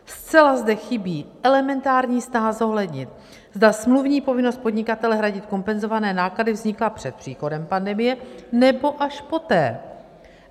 Zcela zde chybí elementární snaha zohlednit, zda smluvní povinnost podnikatele hradit kompenzované náklady vzniká před příchodem pandemie, nebo až poté.